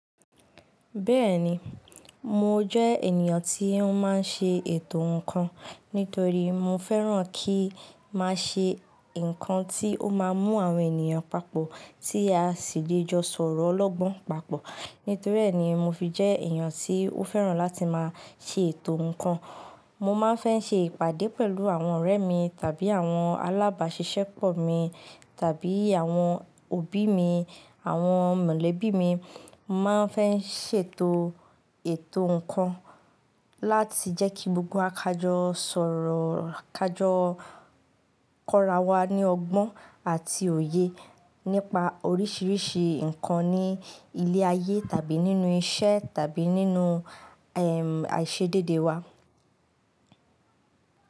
Bẹ́ẹ̀ni, mo jẹ́ ènìyàn tí ó máa ń ṣe ètò ǹkan. Nítorí mo fẹ́ràn kí máa ṣe ǹkan tí ó máa mú àwọn ènìyàn papọ̀ tí a sì lè jọ sọ̀rọ̀ ọlọ́gbọ́n papọ̀. Nítorí ẹ́ ni mo fi jẹ́ ènìyàn tí ó fẹ́ràn láti máa ṣe ètò ǹkan. Mo máa ń fẹ́ ṣe ìpàdé pẹ̀lú àwọn ọ̀rẹ́ mi tàbí àwọn alábàáṣiṣẹ́pọ̀ mi tàbí àwọn òbí mi, àwọn mọ̀lẹ́bí mi. Mo máa ń fẹ́ ṣètò ètò ǹkan láti jẹ́ kí gbogbo wa kájọ sọ̀rọ̀, kájọ kọ́rawá ní ọgbọ́n àti òye nípa oríṣiríṣi ǹkan ní ilé ayé tàbí nínú iṣẹ́ tàbí nínú, ẹm, àìṣedéédé wa.